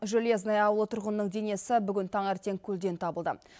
железное ауылы тұрғынының денесі бүгін таңертең көлден табылды